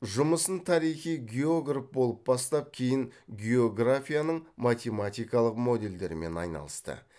жұмысын тарихи географ болып бастап кейін географияның математикалық моделдерімен айналысты